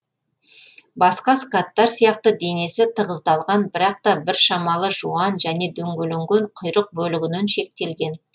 басқа скаттар сияқты денесі тығыздалған бірақ та біршамалы жуан және дөңгеленген құйрық бөлігінен шектелген